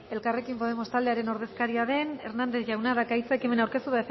elkarrekin podemos taldearen ordezkaria den hernández jaunak dauka hitza ekimena aurkeztu